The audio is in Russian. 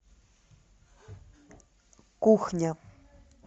кухня